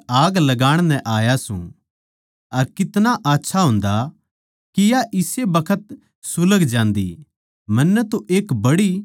मै धरती पै आग लाण नै आया सूं अर कितना आच्छा होन्दा के या इस्से बखत सुलग जान्दी